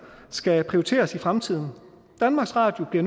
skal prioriteres i fremtiden danmarks radio bliver